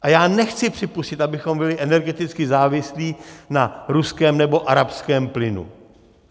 A já nechci připustit, abychom byli energeticky závislí na ruském nebo arabském plynu.